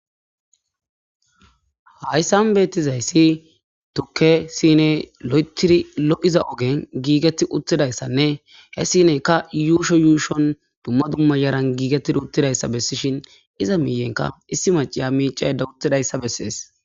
Haysan betizays tuke since lo'ethid lo'iza ogen giget utidaysanne he sineyka yuusho yuushon maran gigetid utidaysa besishn iza miyenka issi macaya micayda utidaysa beses.